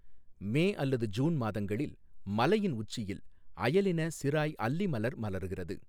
மே அல்லது ஜூன் மாதங்களில் மலையின் உச்சியில் அயலின சிராய் அல்லி மலர் மலர்கிறது.